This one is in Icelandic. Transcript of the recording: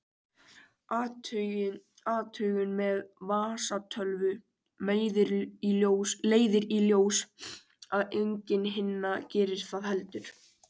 Athugun með vasatölvu leiðir í ljós að engin hinna gerir það heldur.